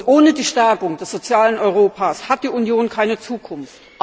Ohne die Stärkung des sozialen Europas hat die Union keine Zukunft.